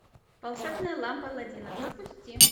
волшебная лампа алладина запусти